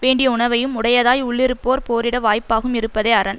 வேண்டிய உணவையும் உடையதாய் உள்ளிருப்போர் போரிட வாய்ப்பாகவும் இருப்பதே அரண்